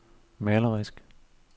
malerisk